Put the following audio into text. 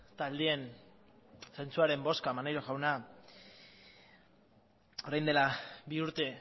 taldeen zentzuaren bozka maneiro jauna orain dela bi urte